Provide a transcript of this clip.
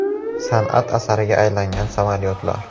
San’at asariga aylangan samolyotlar.